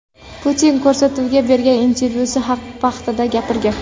Putin” ko‘rsatuviga bergan intervyusi vaqtida gapirgan .